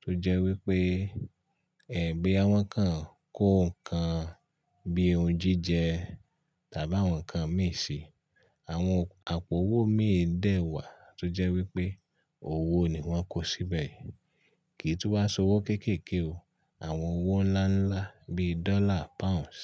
tó jẹ́ wípé ẹ̀gbẹ́ àwọn kan kó ǹkan bí i ohun jíjẹ tàbí àwọn ǹkan mìíràn. Àwọn àpò owó mi dẹ̀ wà tó jẹ́ wípé owó ni wọ́n kó síbẹ̀ kì í tún wá se owó kéékèèké o. Àwọn owó ńláńlá bí i Dọ́là, Pounds.